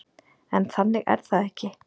En þannig er það ekki.